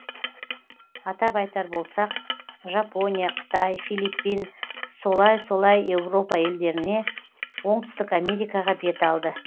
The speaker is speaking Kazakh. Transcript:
атап айтар болсақ жапония қытай филиппин солай солай еуропа елдеріне оңтүстік америкаға бет алды